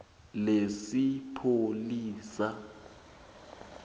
lesipholisa